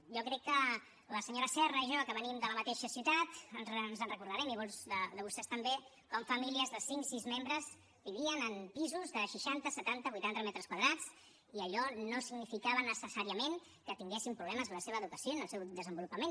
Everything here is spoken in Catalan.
jo crec que la senyora serra i jo que venim de la mateixa ciutat ens en recordarem i molts de vostès també com famílies de cinc sis membres vivien en pisos de seixanta setanta vuitanta metres quadrats i allò no significava necessàriament que tinguessin problemes en la seva educació i en el seu desenvolupament